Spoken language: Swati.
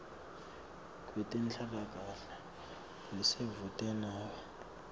kwetenhlalakahle lelisedvute nawe